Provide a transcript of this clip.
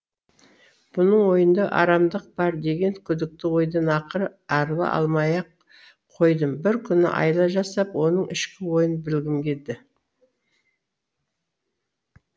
бұның ойында арамдық бар деген күдікті ойдан ақыры арыла алмай ақ қойдым бір күні айла жасап оның ішкі ойын білгім келді